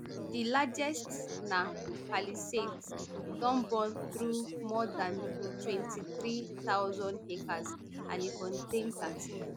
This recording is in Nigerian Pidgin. di largest na palisades e don burn through more dan twenty-three thousand acres and e contain thirteen